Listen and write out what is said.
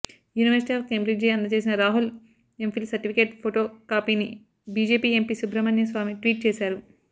university of Cambridge అందజేసిన Rahul MPhil certificate photo కాపీని BJP MP Subramanya Swamy tweet చేశారు